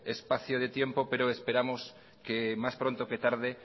espacio de tiempo pero esperamos que más pronto que tarde